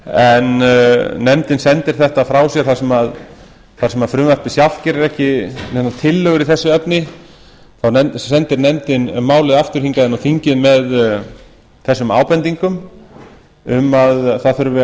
en nefndin sendir þetta frá sér þar sem frumvarpið sjálft gerir ekki neinar tillögur í þessu efni þá sendir nefndin málið aftur inn á þingið með þessum ábendingum um að það þurfi